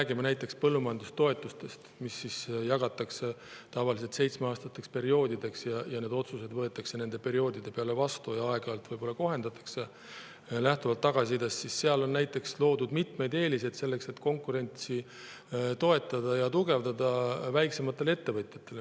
Kui me räägime põllumajandustoetustest, mille jagatakse tavaliselt seitsmeaastasteks perioodideks – need otsused võetakse nende perioodide peale vastu ja aeg-ajalt võib-olla kohendatakse lähtuvalt tagasisidest –, siis on näiteks loodud mitmeid eeliseid selleks, et konkurentsi toetada ja tugevdada väiksemate ettevõtjate puhul.